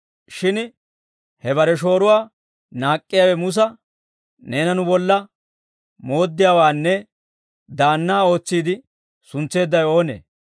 «Shin he bare shooruwaa naak'k'iyaawe Musa, ‹Neena nu bolla mooddiyaawaanne daannaa ootsiide, suntseeddawe oonee?